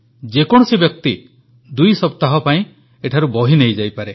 ଯେକୌଣସି ବ୍ୟକ୍ତି ଦୁଇ ସପ୍ତାହ ପାଇଁ ଏଠାରୁ ବହି ନେଇଯାଇପାରେ